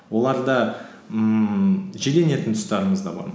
оларда ммм жиренетін тұстарымыз да бар